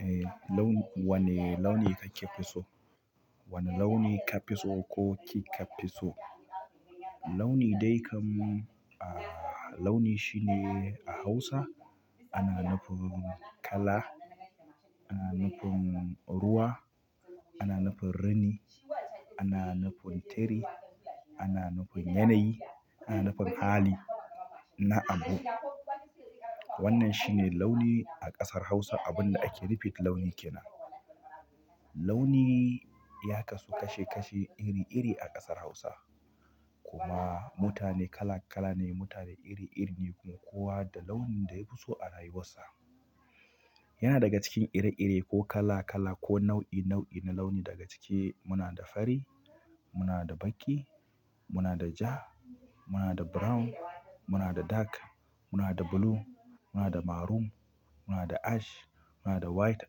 Eh, launi. Wanne launi kake fi so? Wanne launi ka fi so ko ki ka fi so? Launi dai kam, launi shi ne a Hausa ana nufin kala, ana nufin ruwa, ana nufin rini, ana nufin tiri, ana nufin yanayi, ana nufin hali na abu. Wannan shi ne launi a ƙasar Hausa. Abin da ake nufi da launi ke nan. Launi ya kasu kashe kashe iri iri a ƙasar Hausa. Kuma mutane kala kala ne, mutane iri iri ne. Kuma kowa da launin da ya fi so a rayuwarsa. Yana daga cikin ire iren ko kala kala ko nau'i nau'i na launi. Daga ciki muna da fari, muna da baƙi, muna da ja, muna da brown, muna da dark, muna da blue, muna da maroon, muna da ash, muna da white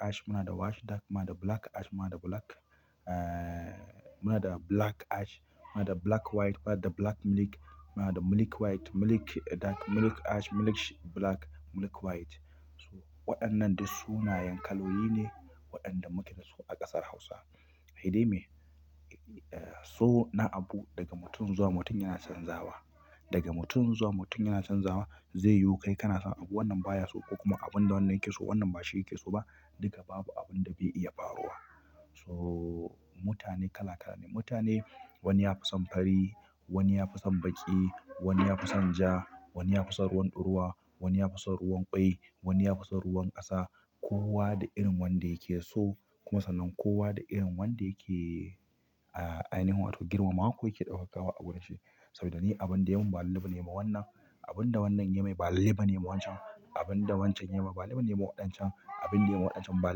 ash, muna da washed dark, muna da black ash, muna da black, muna da black ash, muna da black white, black milk, muna da milk white, milk dark, milk ash, milk black, milk white. Waɗannan duk suna yankaloyi ne waɗanda muke dasu a ƙasar Hausa. Sai dai me? So na abu daga mutum zuwa mutum yana canzawa. Daga mutum zuwa mutum yana canzawa. Zai yiyu kai kana son abu wannan baya so ko kuma abinda wannan ke so wannan bashi yake so ba duka babu abin da bai iya faruwa. So mutane kala kala ne. Mutane wani ya fi son fari, wani ya fi son baƙi, wani ya fi son ja, wani ya fi son ruwan ruwa, wani ya fi son ruwan ƙwai, wani ya fi son ruwan ƙasa. Kowa da irin wanda yake so. Kuma sannan kowa da irin wanda yake ainihin wato girmamawa ko yake ɗaukawa a wurin shi. Saboda ni abin da yayi ma ba lallai bane yama wannan. Abin da wannan ya yi mai ba lallai bane yama wancan. Abin da wancan ya yi ma ba lallai bane yayi ma waɗancan. Abin da yayi ma waɗancan ba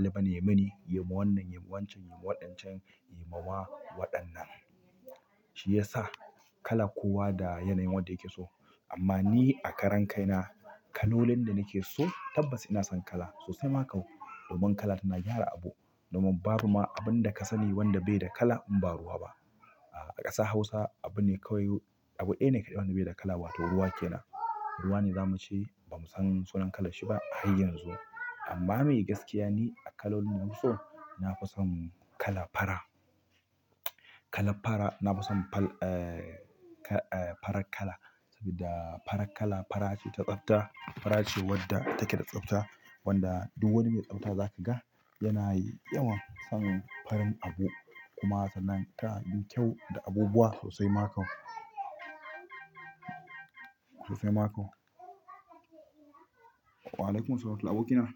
lallai bane ya mini, yayi ma wannan, yayi ma wancan, yayi ma waɗancan, yayi ma wa waɗannan. Shi ya sa kala kowa da yanayin wadda yake so. Amma ni a karan kai na kalolin da nake so tabbas ina son kala sosai ma kau. Domin kala tana gyara abu. Domin ma buba abinda ka sani wanda bai da kala in ba ruwa ba a ƙasar Hausa abu ne kawai abu ɗaya ne kaɗai wanda bai da kala wato ruwa ke nan. Ruwa ne zamu ce ba mu san sunan kalanshi ba har yanzu. Amma me gaskiya ni a kalolin da na fi so, na fi son kalar fara. Kala fara. Na fi son farar kala saboda farar kala fara ce ta tsafta. Fara ce wadda take da tsafta. Wanda duk wani mai tsafta za ka ga yana yawan samun farin abu. Kuma sannan tana mini kyau da abubuwa sosai ma kau. Sosai ma kau. Wa'alaikumussalam abokina?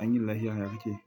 An yini lafia yake yi.